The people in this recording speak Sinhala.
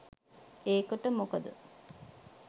ඒකට මොකද